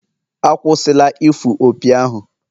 Akwụsịla ifụ opi ahụ!